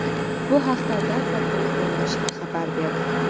Bu haqda Dhaka Tribune nashri xabar berdi .